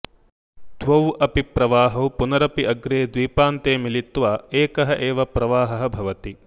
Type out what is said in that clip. द्वौ अपि प्रवाहौ पुनरपि अग्रे द्वीपान्ते मिलित्वा एकः एव प्रवाहः भवति